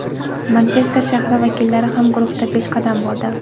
Manchester shahri vakillari ham guruhda peshqadam bo‘ldi.